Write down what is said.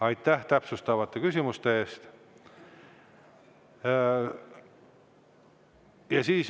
Aitäh täpsustavate küsimuste eest!